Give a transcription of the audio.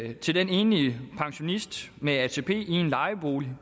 er til den enlige pensionist med atp i en lejebolig